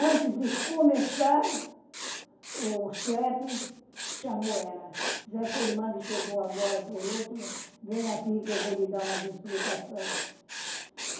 Antes de começar, o chefe chamou ela, disse essa irmã que chegou agora por último, venha aqui que eu vou lhe dar umas explicações.